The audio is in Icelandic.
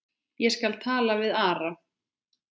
Ég skal taka við Ara.